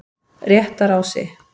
Réttarási